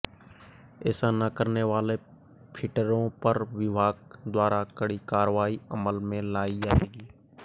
ऐसा न करने वाले फिटरों पर विभाग द्वारा कड़ी कार्रवाई अमल में लाई जाएगी